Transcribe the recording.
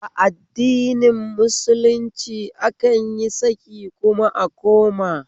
A addinin musulunci akan yi saki kuma a koma